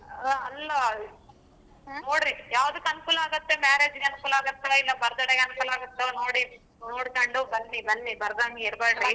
ಅಲ್ಲಾ ನೋಡ್ರಿ ಯಾವ್ದಕ್ಕೆ ಅನಕೂಲ ಆಗತ್ತೆ marriage ಅನಕೂಲ ಆಗತ್ತಾ birthday ಅನಕೂಲ ಆಗತ್ತೊ ನೋಡಿ ನೊಡ್ಕೊಂಡು ಬನ್ನಿ ಬನ್ನಿ ಬರದಂಗೆ ಇರಬ್ಯಾಡ್ರಿ .